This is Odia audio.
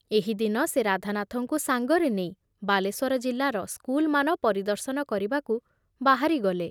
ଏହି ଦିନ ସେ ରାଧାନାଥଙ୍କୁ ସାଙ୍ଗରେ ନେଇ ବାଲେଶ୍ଵର ଜିଲ୍ଲାର ସ୍କୁଲମାନ ପରିଦର୍ଶନ କରିବାକୁ ବାହାରିଗଲେ ।